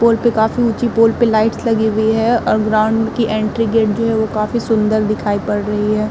पोल पे काफी ऊंची पोल पे लाइट्स लगी हुई हैं और ग्राउंड की एंट्री गेट जो है वो काफी सुंदर दिखाई पड़ रही है।